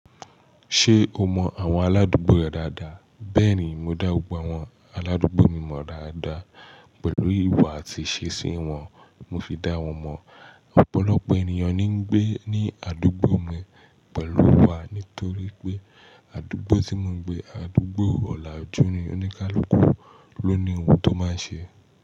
Ṣé o mọ àwọn aládùúgbò rẹ dáadáa? Bẹ́ẹ̀ni, mo dá gbogbo àwọn aládùúgbò mi mọ dáadáa. Pẹ̀lú ìwà àti ìṣesí wọn, mo fi dá wọn mọ̀. Ọ̀pọ̀lọpọ̀ ènìyàn ni ń gbé ní àdúgbò mi pẹ̀lú wa nítorí pé àdúgbò tí mò ń gbé, àdúgbò ọ̀làjú ni. Oníkálukú ló ni ohun tó máa ṣe.